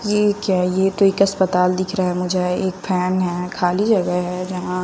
ये क्या ये तो एक अस्पताल दिख रहा हैं मुझे एक फैन हैं खाली जगह है जहां--